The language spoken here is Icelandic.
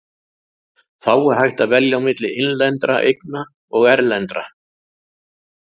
Þá er hægt að velja milli innlendra eigna og erlendra.